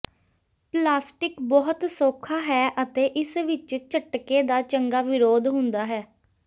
plastic ਬਹੁਤ ਸੌਖਾ ਹੈ ਅਤੇ ਇਸ ਵਿੱਚ ਝਟਕੇ ਦਾ ਚੰਗਾ ਵਿਰੋਧ ਹੁੰਦਾ ਹੈ